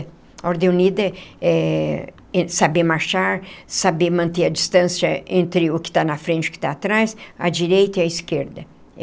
A Ordem Unida é saber marchar, saber manter a distância entre o que está na frente e o que está atrás, a direita e a esquerda.